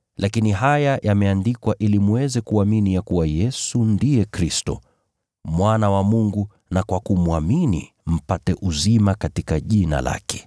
Lakini haya yameandikwa ili mweze kuamini ya kuwa Yesu ndiye Kristo, Mwana wa Mungu, na kwa kumwamini mpate uzima katika jina lake.